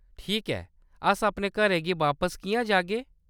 ठीक ऐ, अस अपने घरें गी बापस किʼयां जागे ?